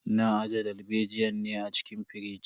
Na aje dalbejiyan ne a cikin firij.